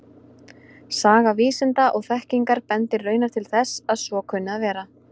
Saga vísinda og þekkingar bendir raunar til þess að svo kunni að vera.